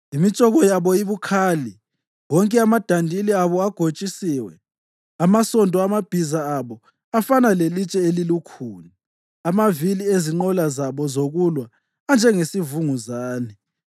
Imitshoko yabo ibukhali, wonke amadandili abo agotshisiwe; amasondo amabhiza abo afana lelitshe elilukhuni, amavili ezinqola zabo zokulwa anjengesivunguzane.